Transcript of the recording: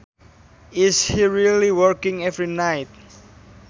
Is he really working every night